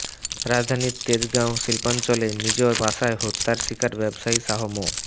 রাজধানীর তেজগাঁও শিল্পাঞ্চলে নিজ বাসায় হত্যার শিকার ব্যবসায়ী শাহ মো